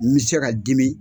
N bi se ka dimi